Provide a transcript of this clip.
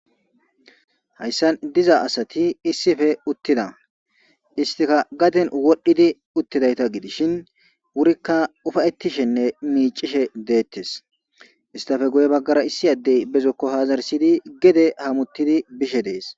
hayssan diza asati issife uttida istika gaden wodhdhidi uttidayta gidishin wurikka ufayettishenne miicishe deettes istafe guye baggara issi addey bezokko haazarsidi gede hamuttidi bishe dees